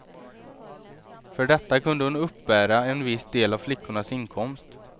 För detta kunde hon uppbära en viss del av flickornas inkomst.